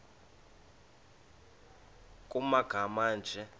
nkr kumagama anje